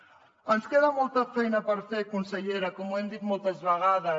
ens queda molta feina per fer consellera com hem dit moltes vegades